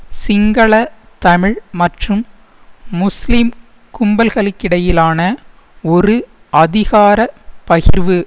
சிங்கள தமிழ் மற்றும் முஸ்லீம் கும்பல்களுக்கிடையிலான ஒரு அதிகார பகிர்வு